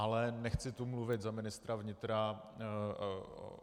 Ale nechci tu mluvit za ministra vnitra.